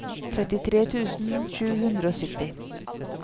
trettitre tusen sju hundre og sytti